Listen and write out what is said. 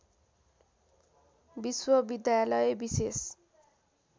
विश्वविद्यालय विशेष